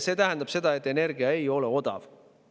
See tähendab, et energia ei ole siis odav.